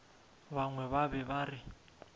bangwe ba be ba re